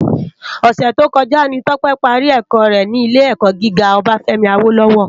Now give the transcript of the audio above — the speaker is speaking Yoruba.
Òsè tókòjá ni Tope pàrí èkò rè ni ilé èkò gigá Obafemi Awolowo